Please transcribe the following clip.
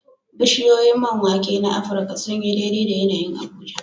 Bishiyoyin man wake na Afirka sun yi daidai da yanayin Abuja.